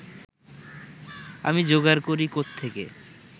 আমি যোগাড় করি কোত্থেকে